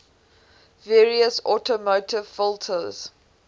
various automotive filters